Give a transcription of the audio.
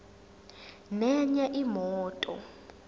nenye imoto